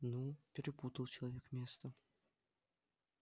ну перепутал человек место